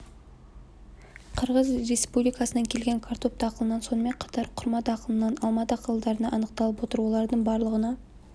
қырғыз республикасынан келген картоп дақылынан сонымен қатар құрма дақылынан алма дақылдарынан анықталып отыр олардың барлығына